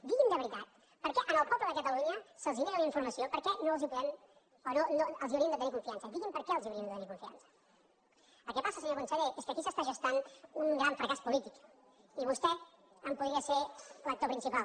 digui’m de veritat per què al poble de catalunya se’ls nega la informació per què els hauríem de tenir confiança digui’m per què els hauríem de tenir confiança el que passa senyor conseller és que aquí s’està gestant un gran fracàs polític i vostè en podria ser l’actor principal